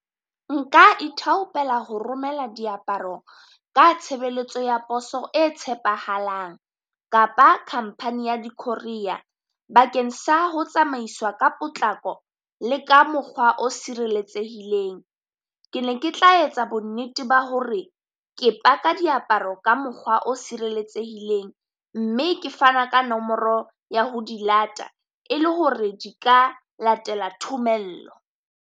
Nka ithaopela ho romela diaparo ka tshebeletso ya poso e tshepahalang, kapa khampani ya di courier bakeng sa ho tsamaiswa ka potlako le ka mokgwa o sireletsehileng. Ke ne ke tla etsa bonnete ba hore ke paka diaparo ka mokgwa o sireletsehileng, mme ke fana ka nomoro ya ho di lata, e le hore di ka latela thomello.